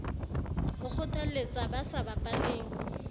ho kgotlalletsa ba sa bapaleng